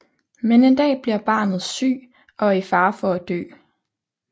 Men en dag bliver barnet syg og er i fare for at dø